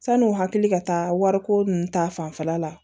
San'u hakili ka taa wariko nun ta fanfɛla la